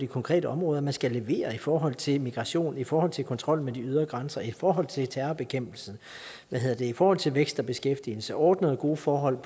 konkrete områder at man skal levere i forhold til migration i forhold til kontrollen med de ydre grænser i forhold til terrorbekæmpelsen og i forhold til vækst og beskæftigelse og ordnede gode forhold